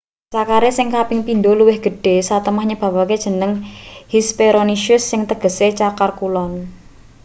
cakare sing kaping pindho luwih gedhe satemah nyebabake jeneng hesperonychus sing tegese cakar kulon